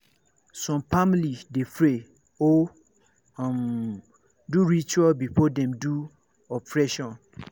some family de pray or um do ritual before dem do operation